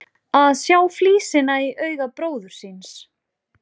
Að sjá flísina í auga bróður síns